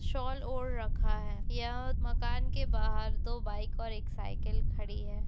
Shawl ओढ़ रखा है ये मकान के बाहर दो बाइक और एक साइकिल खड़ी हैं।